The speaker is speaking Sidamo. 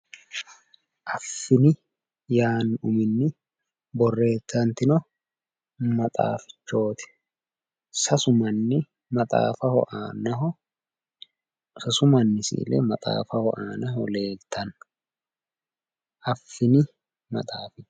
Affini yaanno uminni borreessantino maxaafichooti. Sasu manni maxaafaho aanaho sasu manni si"ile maxaafaho aanaho leeltanno. Affini maxaafa.